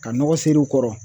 Ka nɔgɔ ser'u kɔrɔ